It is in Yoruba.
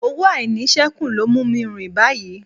Owó àìníṣẹ́kù ló mú mi ń rìn báyìí